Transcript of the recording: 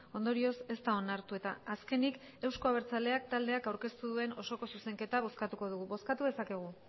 ondorioz ez da onartu eta azkenik euzko abertzaleak taldeak aurkeztu duen osoko zuzenketa bozkatuko dugu bozkatu dezakegu